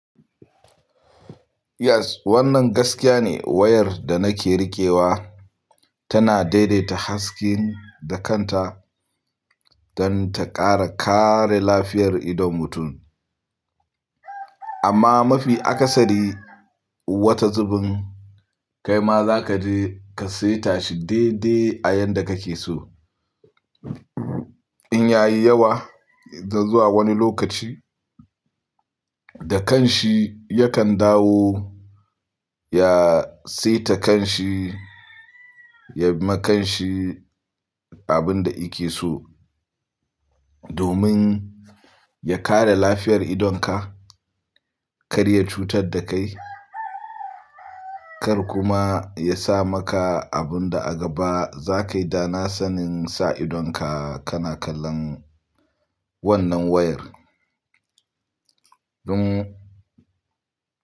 Yes, wannan gaskiya ne. Wayar da nake rikewa tana daidaita haske da kanta don ta ƙara kare lafiyar idon mutum. Amma mafi akasari wata zubin kai ma za ka je ka saita shi daidai a yanda kake so. In ya yi yawa, zuwa wani lokaci, da kanshi yakan dawo ya saita kanshi, ya ma kanshi abin da yake so domin ya kare lafiyar idonka, kar ya cutar da kai, kar kuma ya sa maka abin da a gaba za kai da na sanin sa idonka kana kallon wannan wayar. Don.